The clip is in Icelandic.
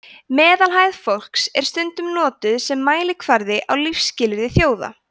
meðalhæð fólks er stundum notuð sem mælikvarði á lífsskilyrði þjóða